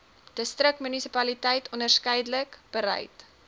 distriksmunisipaliteit onderskeidelik bereid